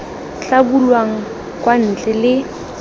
tla bulwang kwa ntle le